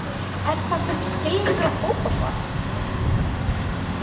Er það þinn skilningur á fótbolta?